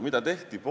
Mida siis tehti?